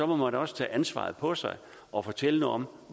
må man også tage ansvaret på sig og fortælle noget om